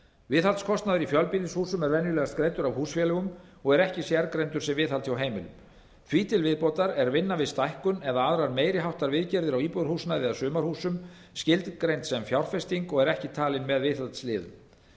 viðhaldskostnaður í fjölbýlishúsum er venjulegast greiddur af húsfélögum og er ekki sérgreindur sem viðhald hjá heimilunum því til viðbótar er vinna við stækkun eða aðrar meiri háttar viðgerðir á íbúðarhúsnæði eða sumarhúsum skilgreind sem fjárfesting og er ekki talin með viðhaldsliðum ef